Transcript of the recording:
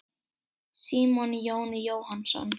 Símon Jón Jóhannsson.